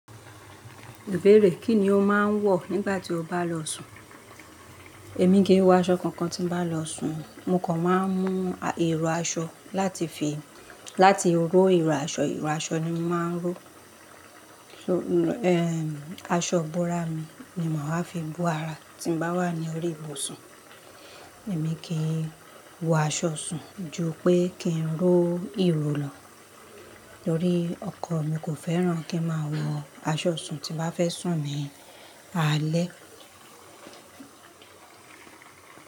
Bẹ́ẹ̀rẹ̀, kí ni o máa ń wọ̀ nígbà tí o bá lọ sùn? Èmi kì í wọ aṣọ kankan tí bá lọ sùn. Mo kàn máa ń mú iro aṣọ láti fi, láti ró iro aṣọ, iro aṣọ ni mo máa ń ró. Aṣọ búrá mi ni màá fi bú ara tí mo bá ara ní orí ibùsùn. Èmi kì í wọ aṣọ sùn ju pé kí n ró ìró lọ torí ọkọ mi kò fẹ́ràn kí n máa wọ aṣọ sùn tí bá fẹ́ sùn mi. Alé.